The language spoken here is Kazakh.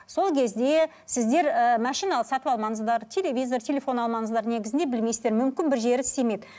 сол кезде сіздер ііі машина сатып алмаңыздар телевизор телефон алмаңыздр негізінде білмейсіздер мүмкін бір жері істемейді